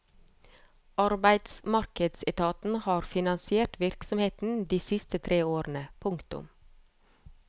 Arbeidsmarkedsetaten har finansiert virksomheten de siste tre årene. punktum